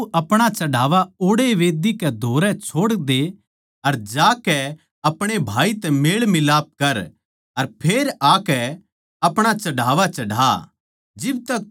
तो तू अपणा चढ़ावा ओड़ैए मंढही कै धोरै छोड़दे अर ज्याकै अपणे भाई तै मेल मिलाप कर अर फेर आकै अपणा चढ़ावा चढ़ा